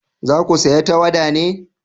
za ku saya tawada ne?